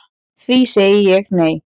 Því segi ég nei